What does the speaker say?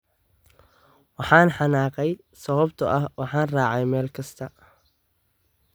"Waxaan xanaaqay sababtoo ah waxaan raacay meel kasta."